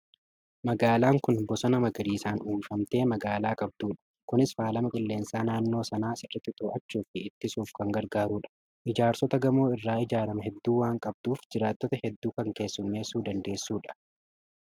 Magaalaan kun bosona magaarissaan uwwifamte magaalaa qabdudha. Kunis faalama qilleensaa naannoo sanaa sirriitti to'achuu fi ittisuuf kan gargaarudha. Ijaarsota gamoo irraa ijaaraman heduu waan qabduuf jiraattota hedduu kan keessummeessuu dandeessudha.